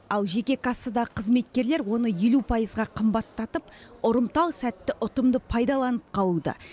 ал жеке кассадағы қызметкерлер оны елу пайызға қымбаттатып ұрымтал сәтті ұтымды пайдаланып қалуда